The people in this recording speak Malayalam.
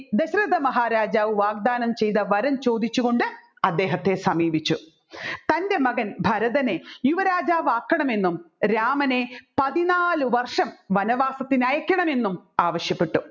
ദശരഥ മഹാരാജാവ് വാഗ്ദാനം ചെയ്ത വരം ചോദിച്ചു അദ്ദേഹത്തെ സമീപിച്ചു തൻ്റെ മകൻ ഭരതനെ യുവരാജാവാകണമെന്നും രാമനെ പതിന്നാല് വര്ഷം വനവാസത്തിന് അയക്കണമെന്നും ആവശ്യപ്പെട്ടു